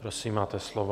Prosím, máte slovo.